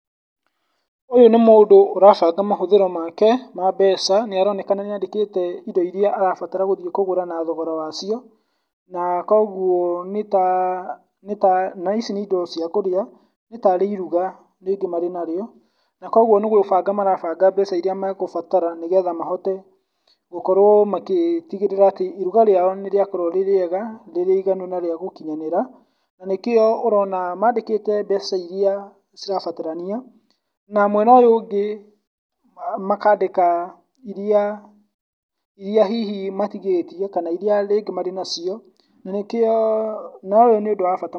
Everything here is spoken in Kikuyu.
Ũyũ nĩ mũndũ ũrabanga mahũthĩro make ma mbeca, nĩ aronekana nĩ andĩkĩte indo iria arabatara kũgũra na thogora wacio, na kogwo nĩta nĩta ici nĩ indo cia kũruga, nĩtarĩ iruga rĩngĩ marĩ narĩo, na kogwo nĩ gũbanga marabanga mbeca iria megũbatara nĩgwo mahote gũkorwo magĩtigĩrĩra atĩ iruga rĩao nĩ rĩa korwo rĩ rĩega rĩrĩ iganu na rĩa gũkinyanĩra, na nĩkĩo ũrona mandĩkĩte mbeca iria cirabatarania, na mwena ũyũ ũngĩ makandĩka iria iria hihi matigĩtie kana iria rĩngĩ marĩ nacio , na nĩkĩo ũyũ nĩ ũndũ wa bata mũno.